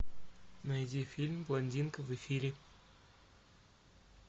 найди фильм блондинка в эфире